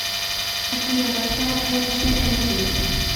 афина поставь эмджиэмти